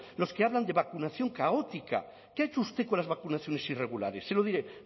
los que hablan de vacunación caótica qué ha hecho usted con las vacunaciones irregulares se lo diré